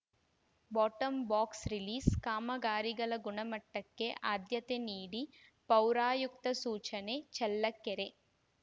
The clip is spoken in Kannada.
ಬಾಟಂಬಾಕ್ಸರಿಲೀಸ್‌ಕಾಮಗಾರಿಗಳ ಗುಣಮಟ್ಟಕ್ಕೆ ಆದ್ಯತೆ ನೀಡಿ ಪೌರಾಯುಕ್ತ ಸೂಚನೆ ಚಳ್ಳಕೆರೆ